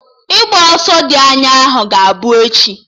Ịgba ọsọ dị anya ahụ ga-abụ echi